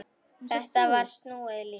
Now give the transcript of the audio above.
Þetta var snúið líf.